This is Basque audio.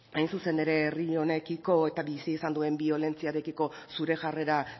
hain zuzen ere herri honekiko eta bizi izan duen biolentziarekiko zure jarrera